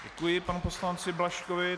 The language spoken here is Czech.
Děkuji panu poslanci Blažkovi.